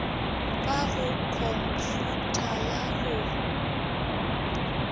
ka go khomphyutha ga go